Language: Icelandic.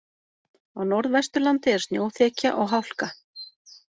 Á Norðvesturlandi er snjóþekja og hálka